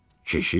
Keşiş?